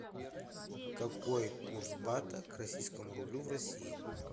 какой курс бата к российскому рублю в россии